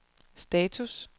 status